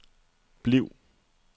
bliv